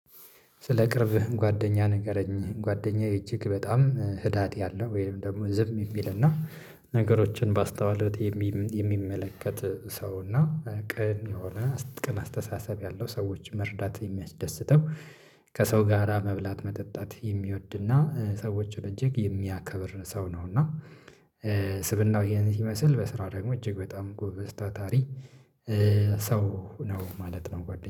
ስለ ቅርብ ጓደኛ ንገረኝ? ጓደኛዬ እጅግ በጣም ህዳት ያለው ወይም ደግሞ ዝም የሚል እና ነገሮችን ባስተውሎት የሚመለከት ሰው እና ቅን የሆነ ቅን አስተሳሰብ ያለው ሰዎች መርዳት የሚያስደስተው ከሰው ጋራ መብላት መጠጣት የሚወድና ሰዎች እጅግ የሚያከብር ሰው ነው እና ስብእናው ይሄን ሲመስል በስራ ደግሞ እጅግ በጣም ጎበዝ ታታሪ ሰው ነው ማለት ነው